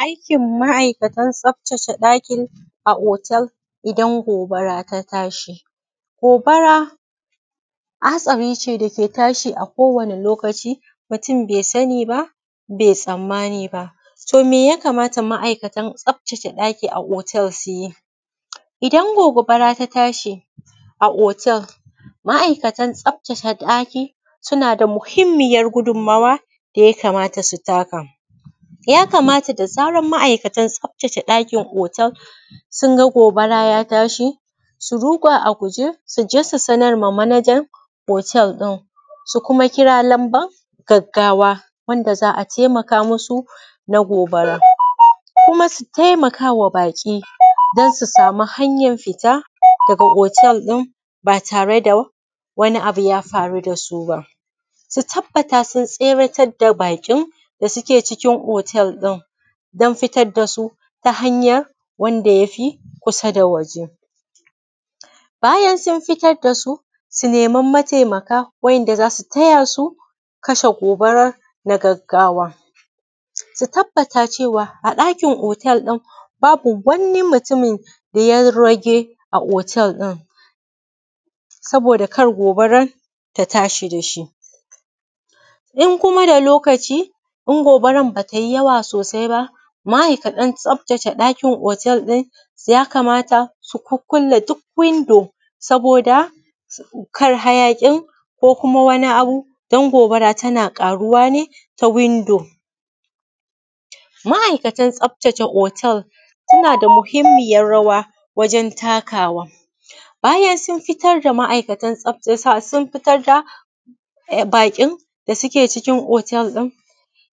Aikin makatan tsaftace ɗaki a otel, idan gobara ta tashi. Gobara hatsari ne daka tashi a kowane lokaci, mutum bai sani ba bai tsammani ba. To me yakamata ma’aikatan tsaftace ɗaki a otel su yi? Idan gobara ta tashi a otel ma’aikatan tsaftace ɗaki, suna da muhimmiyar gudun mawa da yamakamata su taka. Yakamata da zarar ma’aikatan tsaftace ɗakin otel sun ga gobara ya tashi, su ruga a guje su sanar ma manajan otel ɗin. su kuma kira lamban gaggawa, wanda za a taimaka masu na gobara. Kuma su taimakawa baƙi don su sami hanyar fita daga otel ɗin, ba tare da wani abu ya faru da su ba. Su tabbata sun tseratar da baƙin da suke cikin otel ɗin, don fitar ta hanya wanda ya fi kusa da waje. Bayan sun fiyar da su, su nema matemaka wanda za su taya su kasha gobarar na gaggawa. Su tabbata a ɗakin otel ɗin babu wani mutum da ya rage a otel ɗin. saboda kar gobarar ta tashi da shi. In kuma da lokaci, in gobarar ba tai yawa sosai ba, ma’aikatan tsaftace ɗakin otel ɗin, su kukkule duk windo saboda, kar hayaƙin ko kuma wani abun, don gobara tana ƙaruwa ne ta windo. Ma’aikatan tsaftace otel, suna da muhimmiya rawa wajen takawa, bayan sun fitar da ma’ai sun fitar da baƙin da suke cikin otel ɗin,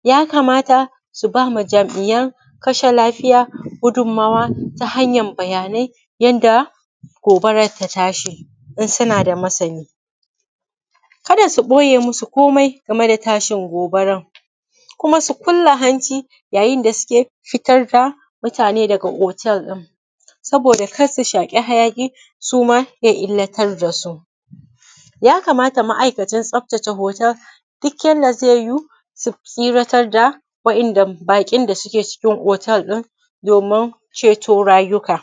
yakamata su ba wa jam’iyan kashe lafiya gudun mawa ta hanyan bayanai yanda gobarar ta tashi in suna da masani. Kada su ɓoye masu komai game da tashin gobaran. Kuma su kulle hanci yayin da suke fitar da mutane daga otel ɗin, saboda kar su shaƙi hayaƙi suma ya illatar dasu. Yakamata ma’aikatan ma’aikatan tsaftace otel, duk yanda zai yuwu su tseratar da waɗanda baƙin da suke cikin otel ɗin, domin ceto rayuka.